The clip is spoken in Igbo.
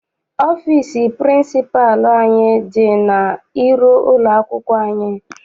Ọfịịsi pịrịnsịpalụ anyị dị n'iru ụlọakwụkwọ anyị.